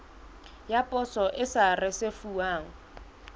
ya poso e sa risefuwang